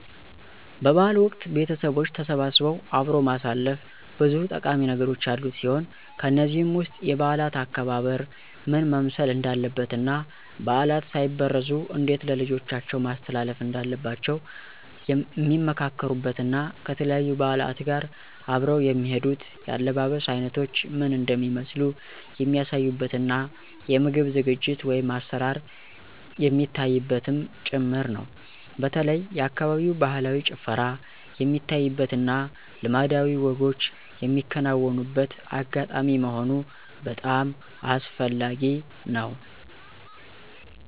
በ በዓል ወቅት ቤተቦች ተሰባስበው አብሮ ማሳለፍ ብዙ ጠቃሚ ነገሮች ያሉት ሲሆን ከነዚህም ውስጥ የበዓላት አከባበር ምን መምሰል እንዳለበት እና ባዕላት ሳይበረዙ እንዴት ለልጆቻቸው ማስተላለፍ እንዳለባቸዉ ሚመካከሩበት እና ከተለያዩ በዓላት ጋር አብረው የሚሄዱት የአለባበስ አይነቶች ምን እንደሚመስሉ የሚያሳዩበት እና የምግብ ዝግጅት(አሰራር) የሚታይበትም ጭምር ነው። በተለይ የአካባቢው ባህላዊ ጭፈራ የሚታይበት እና ልማዳዊ ወጎች ሚከናወንበት አጋጣሚ መሆኑ በጣም አስፈላጊ ነው።